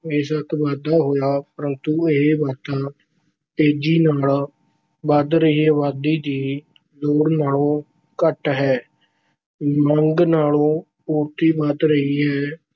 ਬੇਸ਼ੱਕ ਵਾਧਾ ਹੋਇਆ ਪਰੰਤੂ ਇਹ ਵਾਧਾ ਤੇਜ਼ੀ ਨਾਲ ਵਧ ਰਹੀ ਅਬਾਦੀ ਦੀ ਲੋੜ ਨਾਲੋਂ ਘੱਟ ਹੈ। ਮੰਗ ਨਾਲੋਂ ਪੂਰਤੀ ਵੱਧ ਰਹੀ ਹੈ,